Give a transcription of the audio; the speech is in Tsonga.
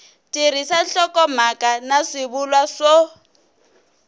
tirhisa nhlokomhaka na swivulwa swo